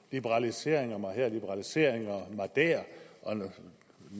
liberaliseringer mig her og liberaliseringer mig der og